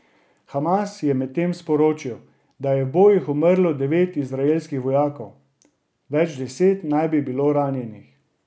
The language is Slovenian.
Hamas je medtem sporočil, da je v bojih umrlo devet izraelskih vojakov, več deset naj bi bilo ranjenih.